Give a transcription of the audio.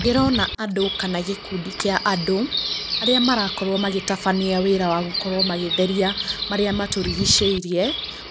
Ndĩrona andũ kana gĩkundi kĩa andũ, arĩa marakorwo magĩtabania wĩra wa gũkorwo magĩtheria marĩa matũrigicĩirie